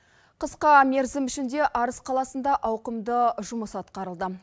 қысқа мерзім ішінде арыс қаласында ауқымды жұмыс атқарылды